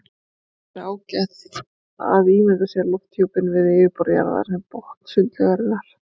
Það gæti því verið ágætt að ímynda sér lofthjúpinn við yfirborð jarðar sem botn sundlaugar.